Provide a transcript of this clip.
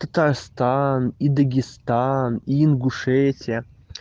татарстан и дагестан и ингушетия